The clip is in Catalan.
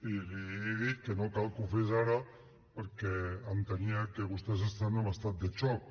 i li he dit que no cal que ho fes ara perquè entenia que vostès estan en estat de xoc